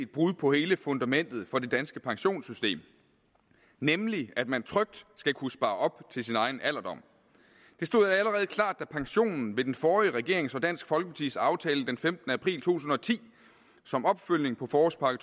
brud på hele fundamentet for det danske pensionssystem nemlig at man trygt skal kunne spare op til sin egen alderdom det stod allerede klart da pensionen ved den forrige regering og dansk folkepartis aftale den femtende april to tusind og ti som opfølgning på forårspakke